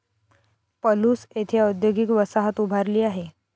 पलूस येथे औदयोगिक वसाहत उभारली आहे.